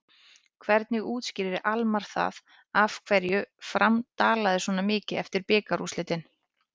Hvernig útskýrir Almarr það af hverju Fram dalaði svona mikið eftir bikarúrslitin?